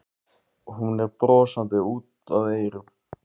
Hún er brosandi út að eyrum.